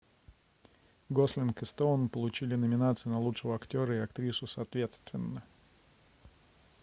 гослинг и стоун получили номинации на лучшего актера и актрису соответственно